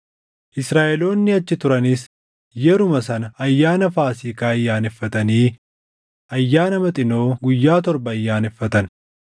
Israaʼeloonni achi turanis yeruma sana Ayyaana Faasiikaa ayyaaneffatanii Ayyaana Maxinoo guyyaa torba ayyaaneffatan.